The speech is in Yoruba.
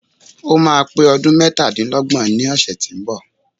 Ó máa pé ọdún mẹ́tadílọ́gbọ̀n ní ọ̀sẹ̀ tí ó ń bọ̀.